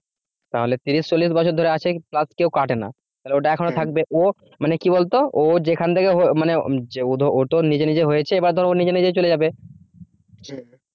তাহলে তিশির ছল্লিশ বছর ধরে আছে কেউ কাটেনা তাহলে ওটা এখনো থাকবে ও মানে কি বলতো ও যেখান থেকে মানে ও তো নিজে নিজে হয়েছে বা ধর ও নিজে নিজে চলে যাবে